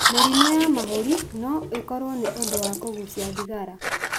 Mĩrimũ ya mahũri no ĩkorwo nĩ ũndũ wa kũgucia thigara.